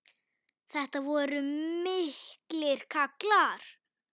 Þetta voru miklir kallar.